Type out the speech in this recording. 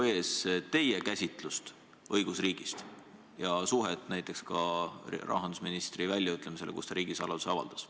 ... ees teie käsitlust õigusriigist ja suhtumist näiteks ka rahandusministri väljaütlemisse, kui ta riigisaladuse avaldas.